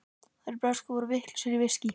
Þeir bresku eru vitlausir í viskí.